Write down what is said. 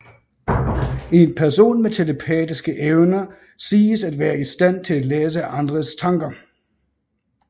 En person med telepatiske evner siges at være i stand til at læse andres tanker